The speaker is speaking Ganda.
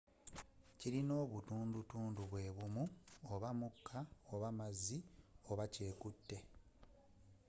kilina obutundu tundu bwebumu oba mukka oba mazzi oba kyekute